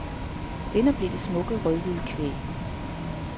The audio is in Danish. Vinder blev det smukke, rødhvide kvæg.